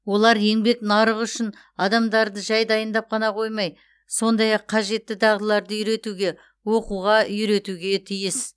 олар еңбек нарығы үшін мамандарды жай дайындап қана қоймай сондай ақ қажетті дағдыларды үйретуге оқуға үйретуге тиіс